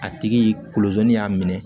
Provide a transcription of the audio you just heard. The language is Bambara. A tigi kolozi y'a minɛ